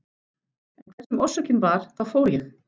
En hver sem orsökin var þá fór ég.